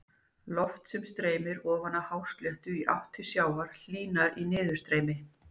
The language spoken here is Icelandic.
Loft sem streymir ofan af hásléttu í átt til sjávar hlýnar í niðurstreymi.